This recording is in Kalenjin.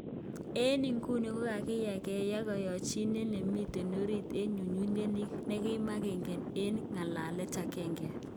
Eng iguni kokakiyan keyai koyochinet nemiten orit eng ngututyet ni nekinomege eun eng ngalalet agenge.